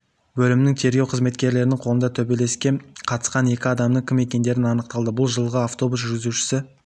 бөлімнің тергеу қызметкерлерінің қолында төбелеске қатысқан екі адамның кім екендері анықталды бұл жылғы автобус жүргізушісі